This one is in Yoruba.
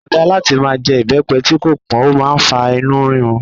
Kò dá láti máa jẹ ibepe tí kò pọn, ó máa ń fa inú rírun.